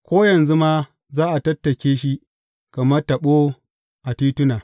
Ko yanzu ma za a tattake shi kamar taɓo a tituna.